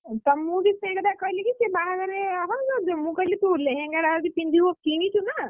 ତ ମୁଁ ବି ସେଇ କଥା କହିଲି କି ସେ ବାହାଘରରେ ହଉ ତୁ ଲେହେଙ୍ଗା ଟା ଯଦି ପିନ୍ଧିବୁ କିଣିଛୁ ନା,